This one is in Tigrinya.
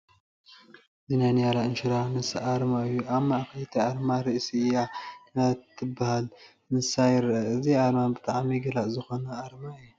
እዚ ናይ ኒያላ ኢንሹራንስ ኣርማ እዩ፡፡ ኣብ ማእኸል እቲ ኣርማ ርእሲ እታ ኒያላ ትበሃል እንስሳ ይርአ፡፡ እዚ ኣርማ ብጣዕሚ ገላፂ ዝኾነ ኣርማ እዩ፡፡